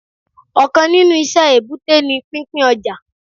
Òkan nínú iṣẹ́ èbúté ni pín pín ọjà